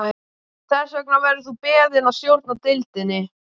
Þess vegna verður þú beðinn að stjórna deildinni